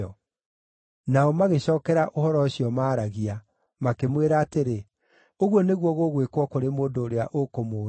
Nao magĩcookera ũhoro ũcio maaragia, makĩmwĩra atĩrĩ, “Ũguo nĩguo gũgwĩkwo kũrĩ mũndũ ũrĩa ũkũmũũraga.”